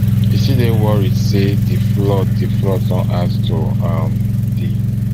e still dey worried say di say di flood don add to um di